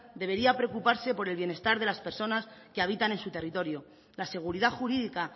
debería preocuparse por el bienestar de las personas que habitan en su territorio la seguridad jurídica